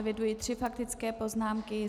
Eviduji tři faktické poznámky.